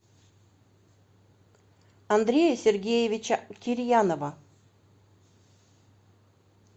андрея сергеевича кирьянова